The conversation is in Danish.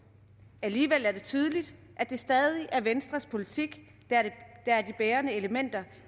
alligevel er det tydeligt at det stadig er venstres politik der er det bærende element